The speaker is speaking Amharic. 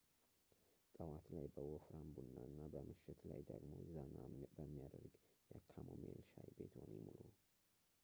ጠዋት ላይ በወፍራም ቡና እና ምሽት ላይ ደግሞ ዘና በሚያደርግ የካሞማይል ሻይ ቤትዎን ይሙሉ